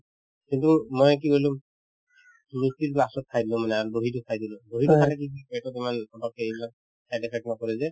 কিন্তু মই কি কৰিলো luchi তো last ত খাই দিলো মানে আৰু dahi তো খাই দিলো dahi তো খালে কি পেটত তোমাৰ অলপ হেৰি বিলাক side effect তোমাৰ কৰে যে